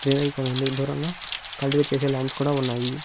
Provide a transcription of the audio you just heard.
లేదా ఇక్కడ ఉంది దూరంగా కల్టివట్ చేసే లండ్స్ కూడా ఉన్నాయి.